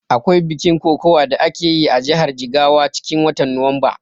Akwai bikin kokawa da akeyi a jihar Jigawa cikin watan Nuwamba